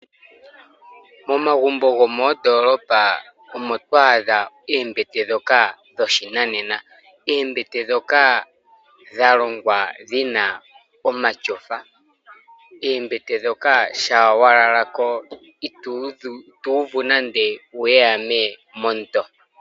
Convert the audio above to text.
Momagumbo gomoondolopa omo to adha oombete ndhoka dho shinanena. Oombete ndhoka dha longwa dhina omatyofa. Oombete ndhoka shampa wa lala ko ito uvu nande uuwehame monto.